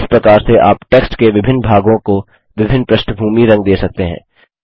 इस प्रकार से आप टेक्स्ट के विभिन्न भागों को विभिन्न पृष्ठभूमी रंग दे सकते हैं